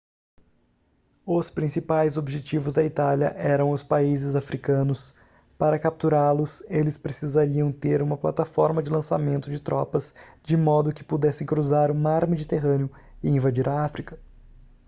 os principais objetivos da itália eram os países africanos para capturá-los eles precisariam ter uma plataforma de lançamento de tropas de modo que pudessem cruzar o mar mediterrâneo e invadir a áfrica